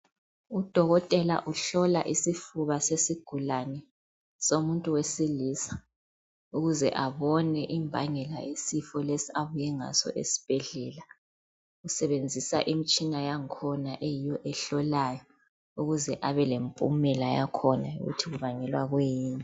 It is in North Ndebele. Udokotela uhlola isifuba sesigulane somuntu wesilisa .ukuze abone imbangela yesifo lesi abuye ngaso esibhedlela . Usebenzisa imitshina yakhona ukuze abalemiphumela yakhona ukuthi kubangelwa yikwiyini.